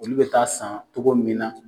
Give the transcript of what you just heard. Olu be taa san togo min na